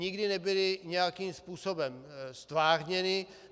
Nikdy nebyly nějakým způsobem ztvárněny.